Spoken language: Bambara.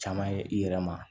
Caman ye i yɛrɛ ma